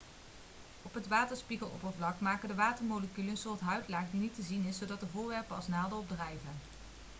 op het waterspiegeloppervlak maken de watermoleculen een soort huidlaag die niet te zien is zodat er voorwerpen als naalden op drijven